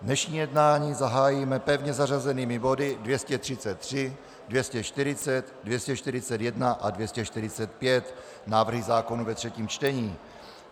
Dnešní jednání zahájíme pevně zařazenými body 233, 240, 241 a 245 - návrhy zákonů ve třetím čtení.